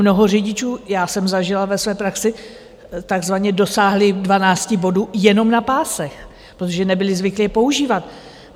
Mnoho řidičů, já jsem zažila ve své praxi, takzvaně dosáhli 12 bodů jenom na pásech, protože nebyli zvyklí je používat.